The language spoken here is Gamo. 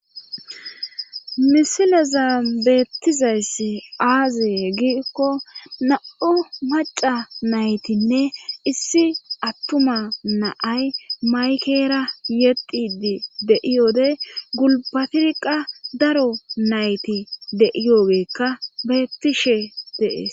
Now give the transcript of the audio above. misilazan beettizayssi aazee giikko na7o maca naytinne issi attuma naay maykera yexidi deiyode gulbatirqa daro nayti deiyogekka beettishe deees